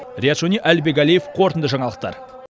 риат шони әлібек әлиев қорытынды жаңалықтар